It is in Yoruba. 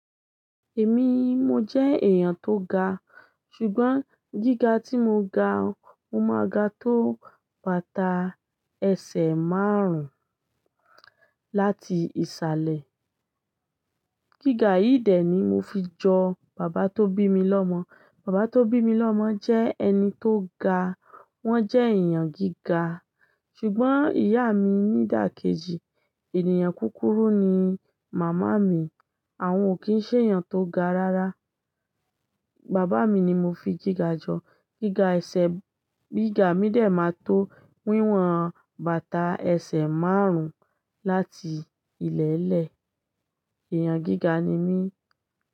Èmi, mo jẹ́ èèyàn tó ga, ṣùgbọ́n gíga tí mo ga, mo máa ga tó bàtà ẹsẹ̀ márùn-ún láti ìsàlẹ̀. Gíga yìí dẹ ni mo fi jọ bàbá tó bí mi lọ́mọ. Bàbá tó bí mi lọ́mọ jẹ́ ẹni tó ga. Wọ́n jẹ́ èèyàn gíga. Ṣùgbọ́n ìyá mi ní ìdàkejì, ènìyàn kúkúrú ni màmá mi. Àwọn ò kí ń ṣe èèyàn tó ga rárá. Bàbá mi ni mo fi gíga jọ. Gíga ẹsẹ̀ gíga mí dè máa tó wíwọ̀n bàtà ẹsẹ̀ márùn-ún láti ilẹ̀lẹ̀. Èèyàn gíga ni mí.